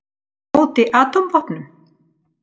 Á móti atómvopnum!